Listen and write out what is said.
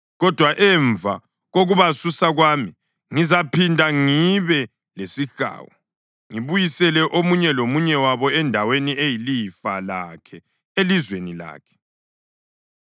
Kodwa emva kokubasusa kwami, ngizaphinda ngibe lesihawu ngibuyisele omunye lomunye wabo endaweni eyilifa lakhe elizweni lakhe.